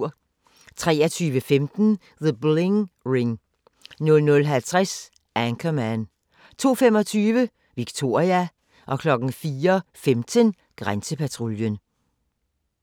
23:15: The Bling Ring 00:50: Anchorman 02:25: Victoria 04:15: Grænsepatruljen